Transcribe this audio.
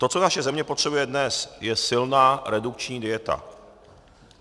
To, co naše země potřebuje dnes, je silná redukční dieta.